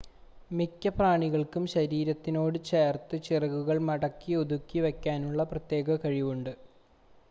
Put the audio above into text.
മിക്ക പ്രാണികൾക്കും ശരീരത്തിനോട് ചേർത്ത് ചിറകുകൾ മടക്കി ഒതുക്കി വെക്കാനുള്ള പ്രത്യേക കഴിവുണ്ട്